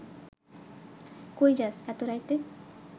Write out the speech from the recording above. কই যাস এত রাইতে